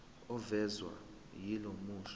ovezwa yilo musho